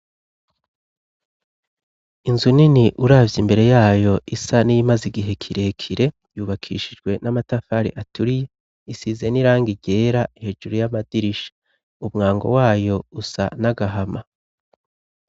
Inzu nini uravye imbere yayo isa n'iyimaze igihe kirekire , yubakishijwe n'amatafari aturiye. Isize n'irangi ryera hejuru y'amadirisha. Umwango wayo usa n'agahama.